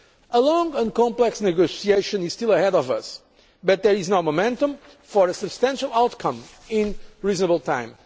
A long and complex negotiation is still ahead of us, but there is now momentum for a substantial outcome in reasonable